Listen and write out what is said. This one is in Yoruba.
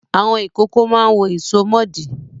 Àwọn ìkókó máa ń wọ ìsomọ́ọ̀dí.